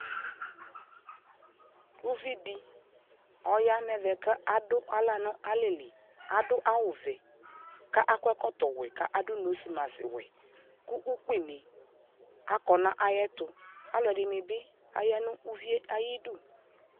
ʋvidi ɔya nʋ ɛvɛ kʋ adʋ ala nʋ alɛli, adʋ awʋ vɛ kʋ akɔ ɛkɔtɔ wɛ kʋ adʋ nose maskwɛ kʋ ʋkpi ni akɔ nʋ ayɛtʋ, alʋɛdini bi aya nʋ ʋviɛ ayidʋ